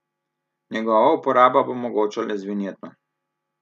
Njegova uporaba bo mogoča le z vinjeto.